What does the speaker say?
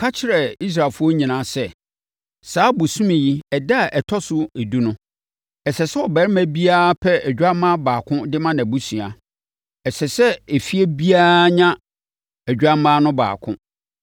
Ka kyerɛ Israelfoɔ nyinaa sɛ, saa bosome yi ɛda a ɛtɔ so edu no, ɛsɛ sɛ ɔbarima biara pɛ odwammaa baako de ma nʼabusua. Ɛsɛ sɛ efie biara nya odwammaa no baako.